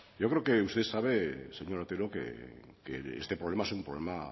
yo creo que usted sabe señor otero que este problema es un problema